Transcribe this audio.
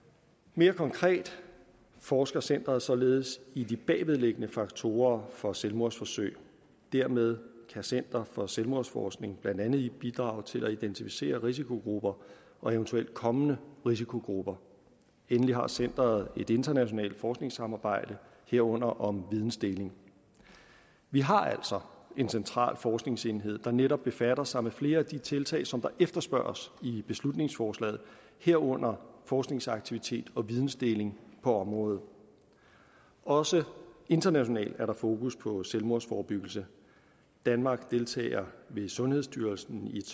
mere konkret forsker centeret således i de bagvedliggende faktorer for selvmordsforsøg dermed kan center for selvmordsforskning blandt andet bidrage til at identificere risikogrupper og eventuelt kommende risikogrupper endelig har centeret et internationalt forskningssamarbejde herunder om vidensdeling vi har altså en central forskningsenhed der netop befatter sig med flere af de tiltag som der efterspørges i beslutningsforslaget herunder forskningsaktivitet og vidensdeling på området også internationalt er der fokus på selvmordsforebyggelse danmark deltager ved sundhedsstyrelsen i et